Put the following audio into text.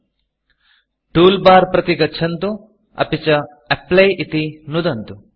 तूल Barटूल् बार् प्रति गच्छन्तु अपि च Applyअप्लै इति नुदन्तु